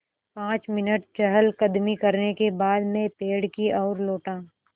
पाँच मिनट चहलकदमी करने के बाद मैं पेड़ की ओर लौटा